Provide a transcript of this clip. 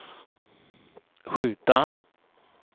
skjuta